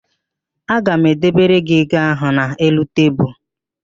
Ọ ga-edebere gị ego ahụ n'elu tebulu.